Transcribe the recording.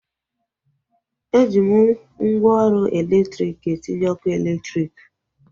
Eji mgwooru elektriki etinye ọkụ eletrik